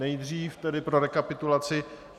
Nejdřív tedy pro rekapitulaci.